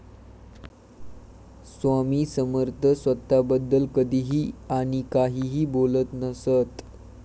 स्वामी समर्थ स्वतःबद्दल कधीही आणि काहीही बोलत नसत.